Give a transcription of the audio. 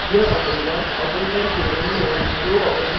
यह operator operator के दोनों ओर दो ऑपरेंड की तुलना करता है